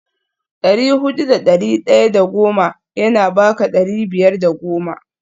dari hudu da dari daya da goma yana baka dari biyar da goma